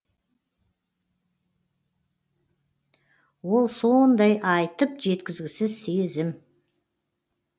ол сондай айтып жеткізгісіз сезім